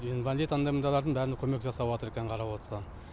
инвалид андай мындайлардың бәріне көмек жасаватыр екен қарап отсаң